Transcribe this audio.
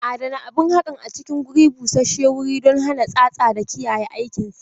Adana abun haƙan a cikin guri busashshewuri don hana tsatsa da kiyaye aikinsa.